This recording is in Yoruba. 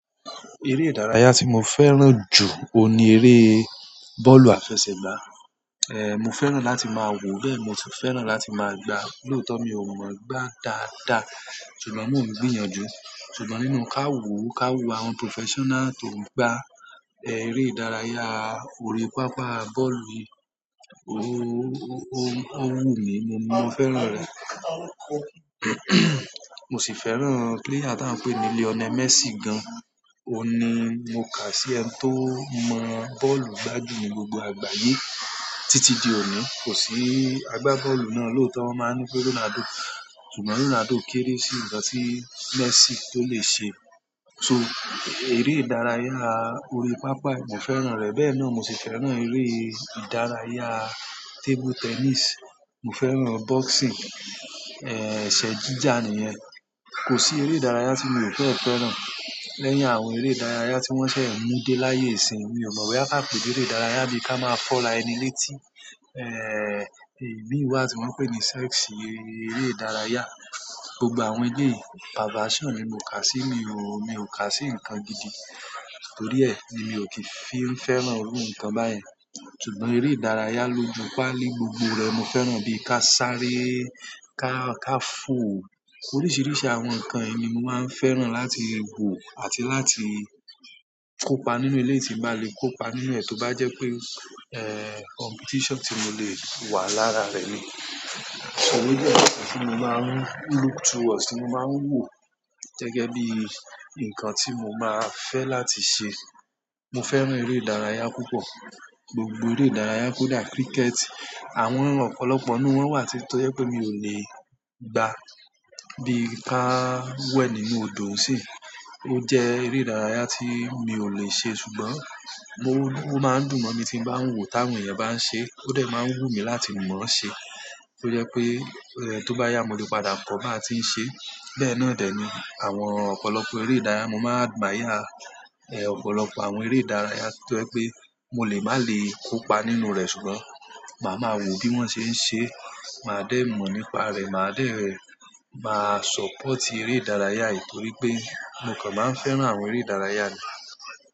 Eré ìdárayá tí mo fẹ́ràn jù òun ni eré bọ́ọ̀lù àfẹsẹ̀gbá. Mo fẹ́ràn láti máa wò, bẹ́ẹ̀ mo sì fẹ́ràn láti máa gbá. Lóòótọ́ mi ò mọ̀ gbá dáadáa ṣùgbọ́n mọ̀ n gbìyànjú. Ṣùgbọ́n nínú kàwúù kàwúù àwọn professional tó ń gbá eré ìdárayá orí pápá bọ́ọ̀lù, ó wù mí, mo ní mo fẹ́ràn rẹ̀. Mo sì fẹ́ràn player ta ń pè ní Lionel Messi gan. Óun ní, mo kà á sí ẹni tó mọ bọ́ọ̀lù gba jú ní gbogbo àgbáyé títí di òní. Kò sí agbábọ́ọ̀lù náà lóòótọ́, wọ́n máa n ńi pe Ronaldo. Ṣùgbọ́n Ronaldo kéré sí nǹkan tí Messi tó lè ṣe. So, eré ìdárayá orí pápá mo fẹ́ràn rẹ̀. Bẹ́ẹ̀ náà mo sì fẹ́ràn eré ìdárayá table tennis. Mo fẹ́ràn boxing, eṣẹ́ jíjà nìyẹn. Kò sí eré ìdárayá tí mi ò fẹ́ fẹ́ràn. Lẹ́yìn àwọn eré ìdárayá tí wọ́n fẹ́ mú dé láyé ìsinmi, mi ò mọ̀ boya ká pè leré ìdárayá bí ká máa fọ́ra ẹni létí. Imi wá tí wọ́n ń pè ní sex, eré ìdárayá. Gbogbo àwọn eléyi perversion ni mo kà á sí, mi ò, mi ò kà á sí nǹkan gidi. Torí ẹ, ni mi ò kí fi n fẹ́ràn irú nǹkan báyẹn. Ṣùgbọ́n eré ìdárayá loju páálí gbogbo rẹ̀ n mo fẹ́ràn bí i ká sáré, ká, ká fò. Oríṣiiríṣii àwọn nǹkan yìí ni mo máa ń fẹ́ràn láti wò àti láti kópa nínú eléyi tí n bá le kópa nínú ẹ̀ tó bá jẹ́ pé, competition tí mo lè wà lára rẹ̀ ní. Owo je ojo kan tí mo máa ń look towards, mo máa ń wò gẹ́gẹ́ bí nǹkan tí mo máa fẹ́ láti ṣe. Mo fẹ́ràn eré ìdárayá púpọ̀. Gbogbo eré ìdárayá kó dà cricket. Àwọn ọ̀pọ̀lọpọ̀ nínú wọn wà tí tó jẹ́ pé mi ò lè gbá. Bí i ká wẹ̀ nínú òdo nsìnyi, ó jẹ́ eré ìdárayá tí mi ò lè ṣe ṣùgbọ́n mo, ó máa ń dùn mọ́ mi tí n bá ń wò táwọn èèyàn bá ń ṣe. Ó dẹ̀ máa ń wù mí láti mọ̀ ọ́ ṣe. Ó jẹ́ pé, tó bá yá mo lè padà kọ́ bá ti ń ṣe. Bẹ́ẹ̀ náà dẹ̀ ni àwọn ọ̀pọ̀lọpọ̀ eré ìdárayá mo máa gbà admire. Ọ̀pọ̀lọpọ̀ àwọn eré ìdárayá tó jẹ́ pé mo lè má lè kópa nínú rẹ̀ ṣùgbọ́n màá maa wò bí wọ́n ṣe ń ṣe. Màá dé mọ̀ nípa rẹ̀, màá dé, màá support eré ìdárayá yìí torí pé mo kàn máa ń fẹ́ràn àwọn eré ìdárayá ni.